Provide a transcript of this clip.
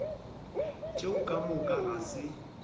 tšeo ka moka ga se